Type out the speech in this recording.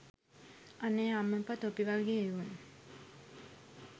අනේ අම්මපා තොපි වගේ එවුන්